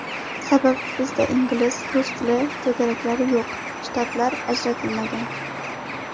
Sababi bizda ingliz, rus tili to‘garaklari yo‘q, shtatlar ajratilmagan.